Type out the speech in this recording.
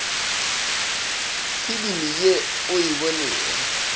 filimi ye o e bonego